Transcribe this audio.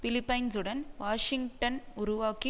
பிலிப்பைன்சுடன் Washington உருவாக்கி